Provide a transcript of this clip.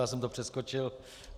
Já jsem to přeskočil.